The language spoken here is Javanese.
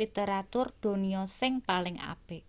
literatur donya sing paling apik